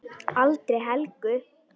Aldrei Helgu.